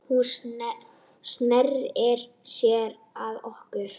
Hún sneri sér að okkur